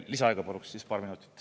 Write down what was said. Lisaaega paluks paar minutit.